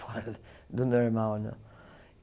fora do normal né.